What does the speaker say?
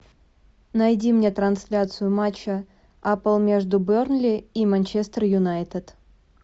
найди мне трансляцию матча апл между бернли и манчестер юнайтед